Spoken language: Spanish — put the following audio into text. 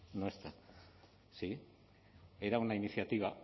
no está sí era una iniciativa